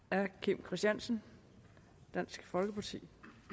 herre kim christiansen dansk folkeparti